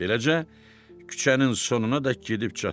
Beləcə, küçənin sonunadək gedib çatdıq.